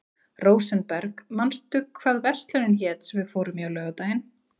Rósenberg, manstu hvað verslunin hét sem við fórum í á laugardaginn?